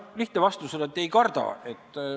No lihtne vastus on, et ei karda.